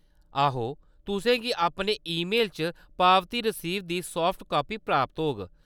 आहो, तुसें गी अपने ई-मेल च पावती रसीद दी साफ्ट कापी प्राप्त होग।